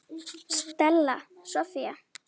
Stella Soffía.